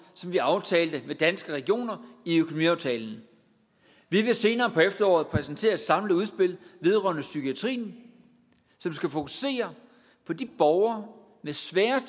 som vi aftalte med danske regioner i økonomiaftalen vi vil senere på efteråret præsentere et samlet udspil vedrørende psykiatrien som skal fokusere på borgere med svære